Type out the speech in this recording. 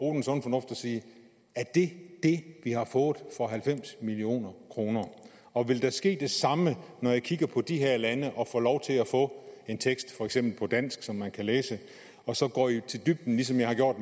sige er det det vi har fået for halvfems million kr og vil der ske det samme når jeg kigger på de her lande og får lov til at få en tekst for eksempel på dansk som man kan læse og så går i dybden som jeg har gjort